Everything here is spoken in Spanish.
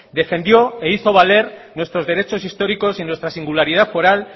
defendió e hizo valer nuestros derechos históricos y nuestra singularidad foral